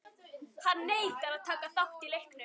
Hann neitar að taka þátt í leiknum.